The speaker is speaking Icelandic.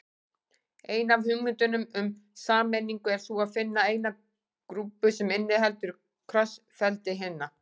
Ein af hugmyndunum um sameiningu er sú að finna eina grúpu sem inniheldur krossfeldi hinna.